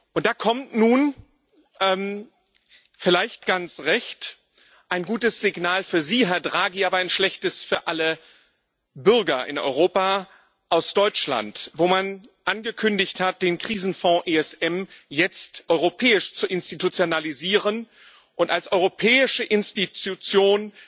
Und da kommt nun vielleicht ganz recht ein gutes Signal für Sie, Herr Draghi, aber ein schlechtes für alle Bürger in Europa aus Deutschland, wo man angekündigt hat, den Krisenfonds ESM jetzt europäisch zu institutionalisieren und als europäische Institution